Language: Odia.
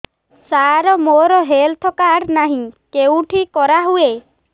ସାର ମୋର ହେଲ୍ଥ କାର୍ଡ ନାହିଁ କେଉଁଠି କରା ହୁଏ